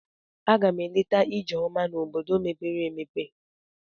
A gam eleta Ijeoma n'ime ime obodo mepere emepe.